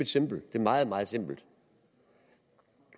simple det er meget meget simpelt